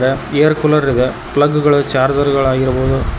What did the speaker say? air cooler ಇದೆ plug ಗಳು charger ಗಳಾಗಿರಬಹುದು--